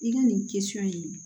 I ka nin kɛ sɔ in